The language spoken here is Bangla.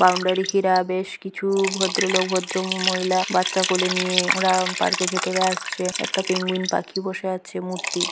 বাউন্ডারি ঘিরা বেশ কিছু ভদ্রলোক ভদ্র ম-মহিলা বাচ্চা কোলে নিয়ে ওরা পার্ক -এর ভেতরে আসছে একটা পেঙ্গুইন পাখি বসে আছে মূর্তি--